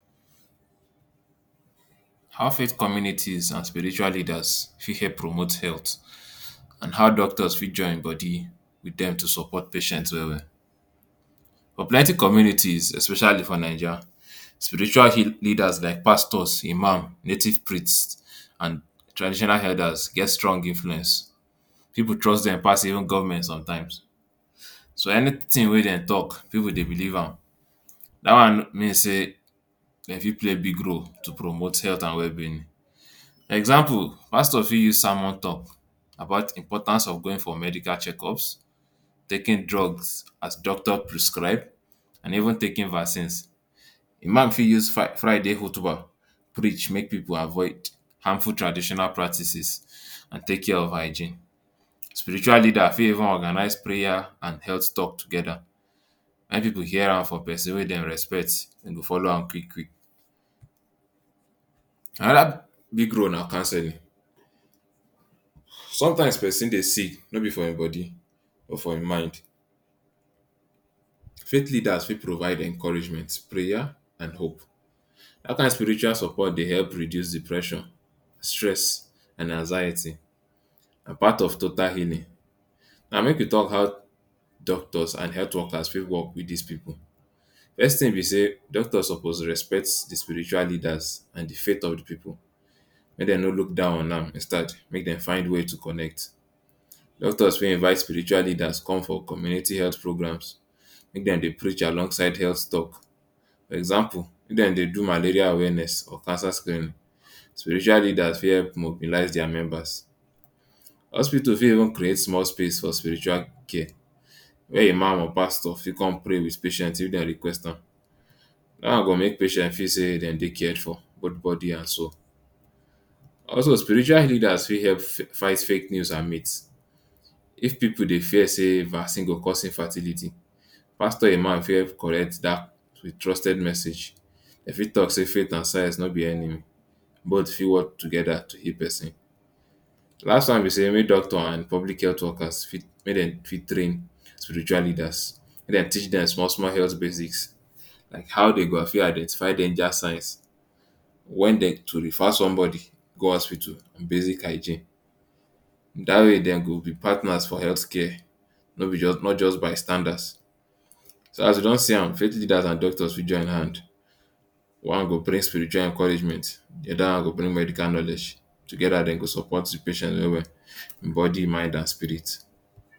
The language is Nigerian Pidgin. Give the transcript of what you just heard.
How faith communities and spiritual leaders fit help promote health and how doctors fit join body wit dem to support patients well well. But plenty communities especially for Naija, spiritual leaders like pastors, Imam, native priest and traditional elders get strong influence. Pipu trust dem pass govment somtime so anytin wey dem tok, pipu dey believe am. Dat one mean say dem fit play big role to promote health and wellbeing. Example, pastor fit use sermon tok about importance of going for medical check-ups, taking drugs as doctor prescribe and even taking vaccines. Di Imam fit use Friday hutubah preach make pipu avoid harmful traditional practice and take care of hygiene. Spiritually leader fit even organise prayer and health tok togeda. Make pipu hear am from pesin wey dem respect, dem go follow am quick. Anoda big role na counselling. Somtime pesin dey sick no be for im body but for im mind. Faith leaders fit provide encouragement, prayer and hope. Dat kain spiritual support dey help reduce depression, stress and anxiety. Na part of total healing. Now make we tok how doctors and health workers fit wok wit dis pipu. First tin be say doctors suppose respect di spiritual leaders and di faith of di pipu. Make dem no look down on am, instead make dem find way to connect. Doctors fit invite spiritual leaders come for community health programs, make dem dey preach alongside health tok. For example, if dem dey do malaria awareness or cancer screening, spiritual leaders fit mobilise dia members. Hospital fit even create small space for spiritual care, wia Imam or pastor fit come pray wit patients if dem request am. Dat one go make patients feel say dem dey cared for both body and soul. Also, spiritual leaders fit help fight fake news and myth. If pipu dey fear say vaccine go cause infertility, pastor or Imam fit help correct dat. Trusted message e fit tok say faith and science no be enemy, both fit wok togeda to give pesin betta life. Last one be say make doctor and public health workers train spiritual leaders. Make dem teach dem small small health basics, how dem go fit identify danger signs, wen dem fit refer somebody go hospital, basic hygiene. Dat way, dem go be partners for health care, no be just by standard. So as we don see am, faith leaders and doctors fit join hand one go bring spiritual encouragement, di oda one go bring medical knowledge. Togeda, dem go support patients well well: him body, mind and spirit.